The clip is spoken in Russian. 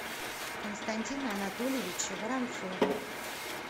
константина анатольевича воронцова